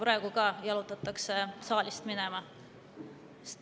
Praegu ka jalutatakse saalist minema.